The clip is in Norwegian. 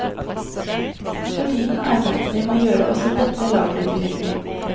For tiden arbeids det med å gjøre også dette lageret tilgjengelig.